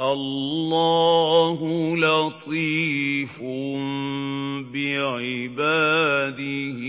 اللَّهُ لَطِيفٌ بِعِبَادِهِ